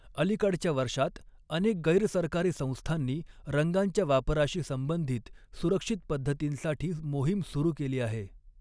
अलिकडच्या वर्षांत, अनेक गैर सरकारी संस्थांनी रंगांच्या वापराशी संबंधित सुरक्षित पद्धतींसाठी मोहीम सुरू केली आहे.